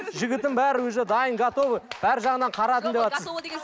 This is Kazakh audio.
жігітім бәрі уже дайын готовый бар жағынан қарадым деватсыз